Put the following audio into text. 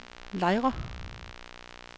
Lejre